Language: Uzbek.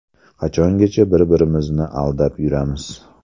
Qachongacha bir-birimizni aldab yuramiz?